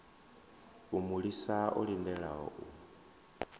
a mulisa o lindela u